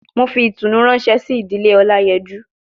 mo fi itunu ranse si idile olayeju